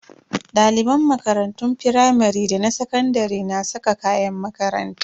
Daliban makarantun firamare da sakandare na saka kayan makaranta.